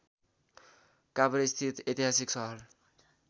काभ्रेस्थित ऐतिहासिक सहर